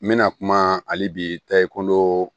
N bɛna kuma hali bi tayi ko